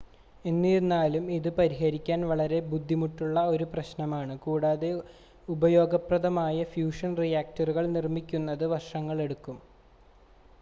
എന്നിരുന്നാലും ഇത് പരിഹരിക്കാൻ വളരെ ബുദ്ധിമുട്ടുള്ള ഒരു പ്രശ്നമാണ് കൂടാതെ ഉപയോഗപ്രദമായ ഫ്യൂഷൻ റിയാക്ടറുകൾ നിർമ്മിക്കുന്നതിന് വർഷങ്ങൾ എടുക്കും